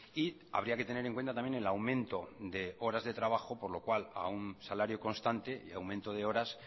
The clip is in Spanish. y habría que tener en cuenta también el aumento de horas de trabajo por lo cual a un salario constante y aumento de horas